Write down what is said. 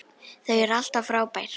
Þau eru alltaf frábær.